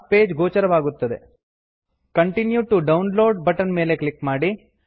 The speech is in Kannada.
continue to download continue to download button ಮೇಲೆ ಕ್ಲಿಕ್ ಮಾಡಿ